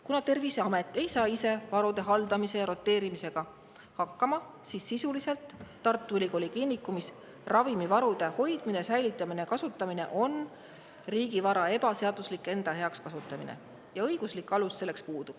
Kuna Terviseamet ei saa ise varude haldamise ja roteerimisega hakkama, siis Tartu Ülikooli Kliinikumis ravimivarude hoidmine, säilitamine ja kasutamine on sisuliselt riigivara ebaseaduslik enda heaks kasutamine ja õiguslik alus selleks puudub.